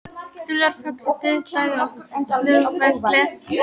Dularfullur dauðdagi á flugvelli